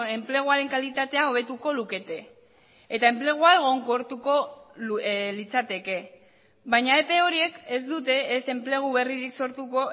enpleguaren kalitatea hobetuko lukete eta enplegua egonkortuko litzateke baina epe horiek ez dute ez enplegu berririk sortuko